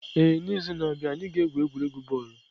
Ee, n'izu na-abịa, anyị ga-egwu egwuregwu bọọlụ.